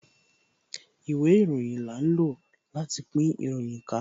Ìwé ìròyìn là ń lò láti pín ìròyìn ká